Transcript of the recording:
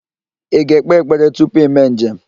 Ị ga-ekpe ekpere tupu ime njem?